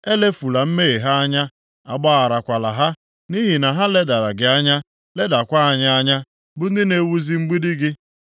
Elefula mmehie ha anya, agbagharakwala ha, nʼihi na ha ledara gị anya, ledakwa anyị anya, bụ ndị na-ewuzi mgbidi gị.”